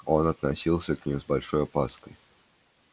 он относился к ним с большой опаской